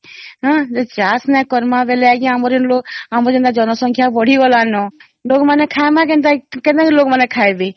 ହଁ ଯଦି ଚାଷ ନାଇଁ କରିବା ଆମ ର ଯୋଉ ଲୋକ ଜନ ସଂଖ୍ୟା ଯୋଉ ବିନ୍ଧି ଗଲାନା ତ ଲୋକ ମାନେ ଖାଇବା କେନ୍ତା କେନ୍ତା ଲୋକ ମାନେ ଖାଇବେ